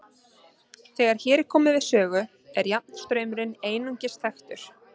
Þegar hér er komið við sögu er jafnstraumurinn einungis þekktur.